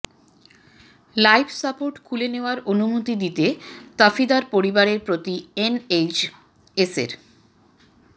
life support খুলে নেওয়ার অনুমতি দিতে তাফিদার পরিবারের প্রতি এনএইচএসের